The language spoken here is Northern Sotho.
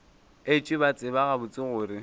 etšwe ba tseba gabotse gore